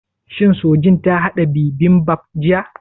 Shin Sojin ta haɗa bibimbap jiya?